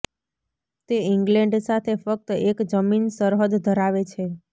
તે ઈંગ્લેન્ડ સાથે ફક્ત એક જમીન સરહદ ધરાવે છે